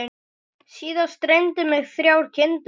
Síðast dreymdi mig þrjár kindur.